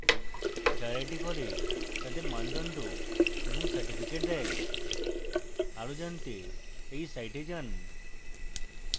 যারা এটি করে তাদের মানদণ্ড এবং certificates দেই আরো জানতে we সাইটে যান